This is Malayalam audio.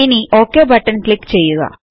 ഇനിയും ഒക് ബട്ടൺ ക്ലിക്ക് ചെയ്യുക